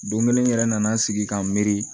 Don kelen yɛrɛ nana sigi ka n miiri